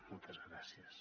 moltes gràcies